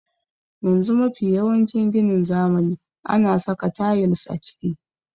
Yanzu mafi yawancin ginin zamani ana saka tayils a ciki.